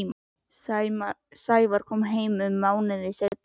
Sævar kom heim um mánuði seinna.